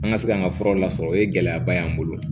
An ka se ka an ka furaw lasɔrɔ o ye gɛlɛyaba y'an bolo